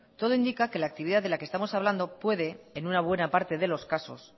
todo indica que la actividad de la que estamos hablando puede en una buena parte de los casos